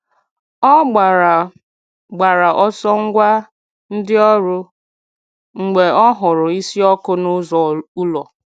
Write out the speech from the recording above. Ọ gbàrà gbàrà ọsọ gwa ndị ọrụ mgbe ọ hụrụ̀ ísì ọkụ̀ n’ụzọ ụlọ̀.